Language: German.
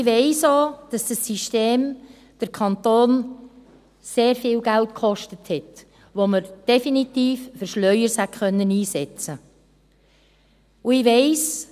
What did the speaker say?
Ich weiss auch, dass dieses System den Kanton sehr viel Geld gekostet hat, das man definitiv für Schlaueres hätte einsetzen können.